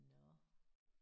Nåh